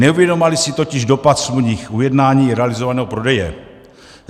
Neuvědomovali si totiž dopad smluvních ujednání realizovaného prodeje.